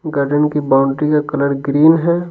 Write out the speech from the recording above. Garden की boundary का colour green है।